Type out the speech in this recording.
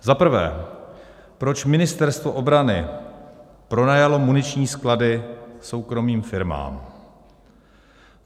Za prvé, proč Ministerstvo obrany pronajalo muniční sklady soukromým firmám?